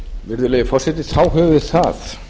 virðulegi forseti þá höfum við það